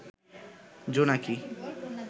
জোনাকি